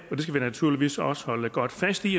skal vi naturligvis også holde godt fast i